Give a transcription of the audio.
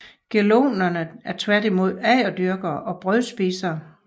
Gelonerne er tværtimod agerdyrkere og brødspisere